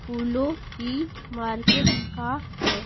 फूलों की मार्केट का है।